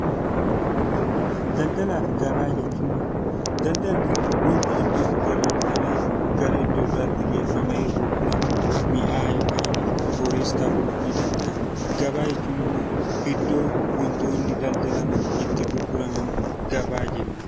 Daldalaa fi gabaa Daldalli waanta iddoo tokkoo bitamee gara iddoo biraatti geeffamee gurguramu mi'a yookaan horiis ta'uu ni danda'a. Gabaa jechuun immoo iddoo waantonni daldalaman itti gurguraman gabaa jennaan.